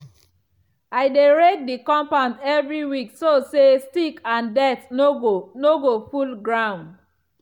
i dey rake the compound every week so say stick and dirt no go no go full ground.